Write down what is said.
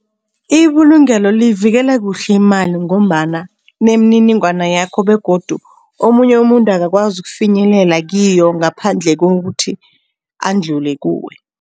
Ibulungelo liyivikela kuhle imali ngombana nemininingwana yakho begodu omunye umuntu akakwazi ukufinyelela kiyo ngaphandle kokuthi andlule kuwe.